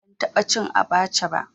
Ban taɓa cin abaca ba